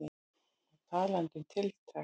Og talandi um tiltekt.